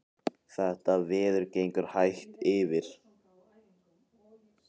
Þetta veður gengur hægt yfir